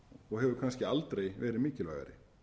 og hefur kannski aldrei verið mikilvægari